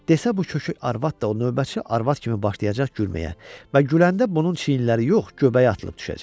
Desə bu kök arvad da o növbətçi arvad kimi başlayacaq gülməyə və güləndə bunun çiyinləri yox, göbəyi atılıb düşəcək.